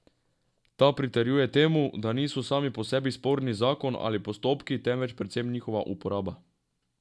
Ta pritrjuje temu, da niso sami po sebi sporni zakon ali postopki, temveč predvsem njihova uporaba.